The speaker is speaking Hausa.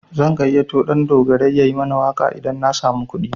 Zan gayyato Ɗandogarai yayi mana waƙa idan na samu kuɗi.